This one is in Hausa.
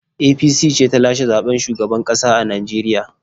APC ce ta lashe zaɓen shugaban ƙasa a Najeriya.